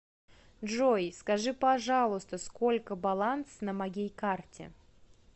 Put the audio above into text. джой скажи пожалуйста сколько баланс на моей карте